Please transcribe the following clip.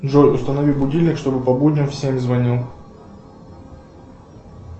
джой установи будильник чтобы по будням в семь звонил